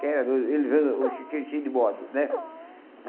Que ele tinha de bode, né?